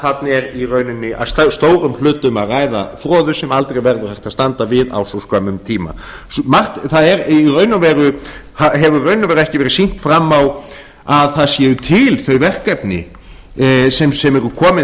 þarna er í rauninni að stórum hluta um að ræða froðu sem aldrei verður hægt að standa við á svo skömmum tíma það hefur ekki verið sýnt fram á að það séu til þau verkefni sem eru komin